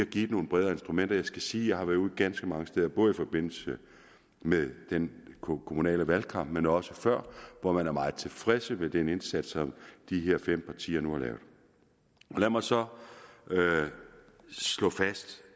givet nogle bredere instrumenter jeg skal sige at jeg har været ude ganske mange steder både i forbindelse med den kommunale valgkamp men også før og man er meget tilfreds med den indsats som de her fem partier nu har lavet lad mig så slå fast